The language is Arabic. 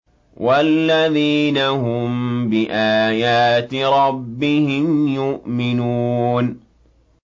وَالَّذِينَ هُم بِآيَاتِ رَبِّهِمْ يُؤْمِنُونَ